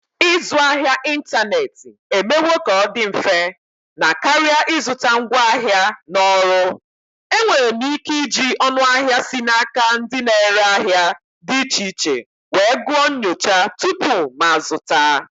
Ịzụ ahịa n'ịntanetị emewo ka ọ dị mfe na karịa ịzụta ngwaahịa na ọrụ. Enwere m ike iji ọnụahịa si n'aka ndị na-ere ahịa dị iche iche wee gụọ nyocha tupu m azụta.